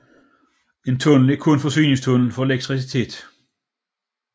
En tunnel er kun forsyningstunnel for elektricitet